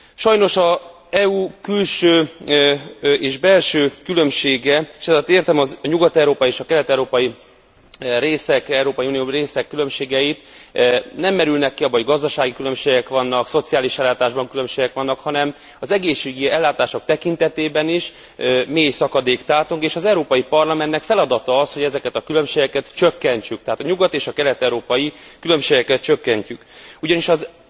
Sajnos az EU külső és belső különbsége, és ezalatt értem a nyugat európai és kelet európai részek különbségeit, nem merülnek ki abban, hogy gazdasági különbségek vannak, szociális ellátásban különbségek vannak, hanem az egészségügyi ellátások tekintetében is mély szakadék tátong, és az Európai Parlamentnek feladat az, hogy ezeket a különbségeket csökkentsük, tehát a nyugat és a kelet európai különbségeket csökkentsük, ugyanis az